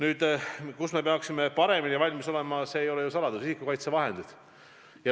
Mille osas me peaksime paremini valmis olema – see ei ole ju saladus –, on isikukaitsevahendid.